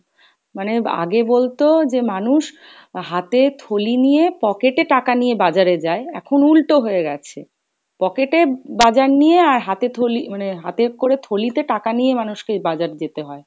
মানে আগে বলতো যে মানুষ হাতে থলি নিয়ে pocket এ টাকা নিয়ে বাজারে যায় এখন উল্টো হয়ে গেছে, pocket এ বাজার নিয়ে আর হাতে থলি মানে হাতে করে থলিতে টাকা নিয়ে মানুষকে বাজার যেতে হয়